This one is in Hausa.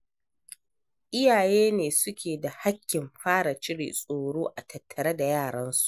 Iyaye ne suke da hakkin fara cire tsoro a tattare da yaransu.